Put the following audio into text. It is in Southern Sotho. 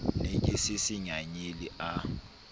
ne ke se sengangele a